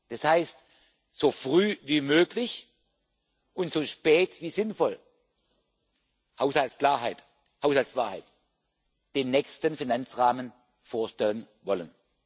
das heißt, so früh wie möglich und so spät wie sinnvoll Haushaltsklarheit, Haushaltswahrheit den nächsten Finanzrahmen vorstellen wollen.